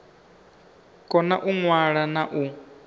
kona u ṅwala na u